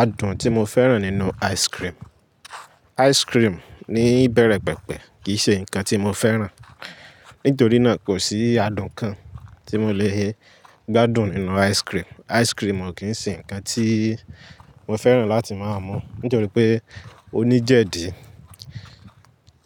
Adùn tí mo fẹ́ràn nínú ice cream. Ice cream ní ìbẹ̀rẹ̀ pẹ̀pẹ̀ kì í ṣe ǹkan tí mo fẹ́ràn, nítorí náà kò sí adùn kan tí mo lè gbádùn nínú ice cream. Ice cream ò kí ń ṣe ǹkan tí mo fẹ́ràn láti máa mú, nítorí pé ó ní jẹ̀dí,